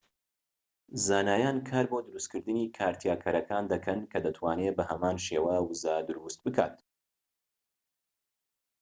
زانایان کار بۆ دروستکردنی کارتیاکەرەکان دەکەن کە دەتوانێت بە هەمان شێوە وزە دروست بکات‎